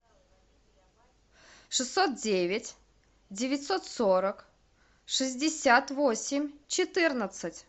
шестьсот девять девятьсот сорок шестьдесят восемь четырнадцать